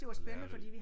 Og lærerig